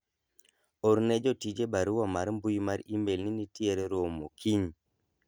orne jotije barua mar mbui mar email ni nitiere romo kiny